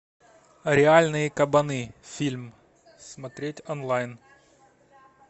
реальные кабаны фильм смотреть онлайн